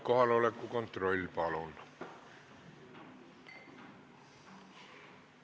Kohaloleku kontroll, palun!